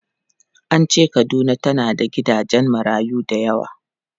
An ce Kaduna tana da gidajen marayu da yawa.